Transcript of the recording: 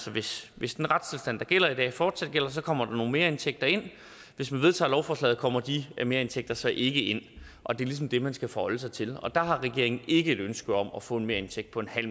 hvis hvis den retstilstand der gælder i dag fortsat vil gælde så kommer der nogle merindtægter ind hvis man vedtager lovforslaget kommer de merindtægter så ikke ind og det er ligesom det man skal forholde sig til der har regeringen ikke et ønske om at få en merindtægt på